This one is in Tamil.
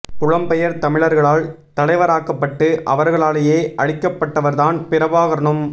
புலம்பெயர் தமிழர்களால் தலைவராக்கப்பட்டு அவர்களாலேயே அழிக்கப்பட்டவர்தான் பிரபாகரனும்